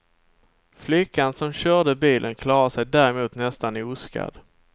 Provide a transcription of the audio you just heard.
Flickan som körde bilen klarade sig däremot nästan oskadd.